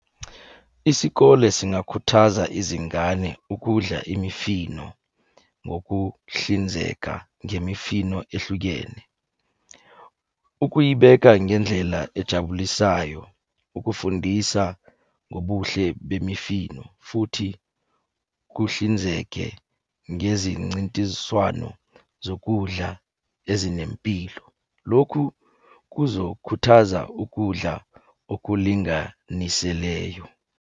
Isikole singakhuthaza izingane ukudla imifino ngokuhlinzeka ngemifino ehlukene. Ukuyibeka ngendlela ejabulisayo, ukufundisa ngobuhle bemifino, futhi kuhlinzeke ngezincintiswano zokudla ezinempilo. Lokhu kuzokhuthaza ukudla okulinganiseleyo.